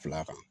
Fila kan